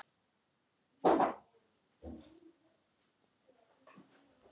Þá má líka nefna að sé hnerrað við matarborðið er von á gesti.